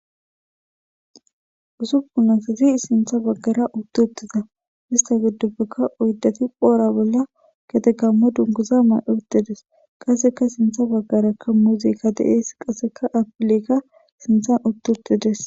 usuppun asazi sintha baggara utti uttida hista giddupbekka oydeti phoora bolla getegammo dunguza may7uttides qasseka sintha baggarakka muzika de7ees qasseka apilekka sinthan utti uttides